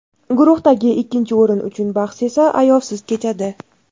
Guruhdagi ikkinchi o‘rin uchun bahs esa ayovsiz kechadi.